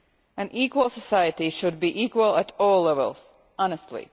An equal society should be equal at all levels, honestly.